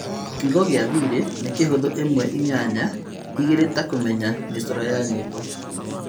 Kiugo gĩa thiri nĩ kĩhuthũ imwe, inyanya, igĩrĩ ta kũmenya mĩcoro ya nyĩmbo